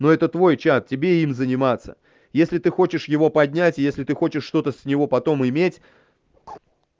ну это твой чат тебе им заниматься если ты хочешь его поднять если ты хочешь что-то с него потом иметь